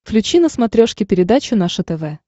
включи на смотрешке передачу наше тв